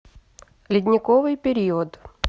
ледниковый период